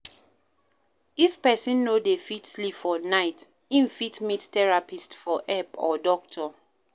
if person no dey fit sleep for night im fit meet therapist for help or doctor